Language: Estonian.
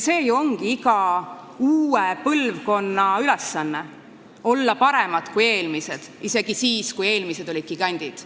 See ju ongi iga uue põlvkonna ülesanne – olla parem kui eelmised, isegi siis, kui need eelmised olid gigandid.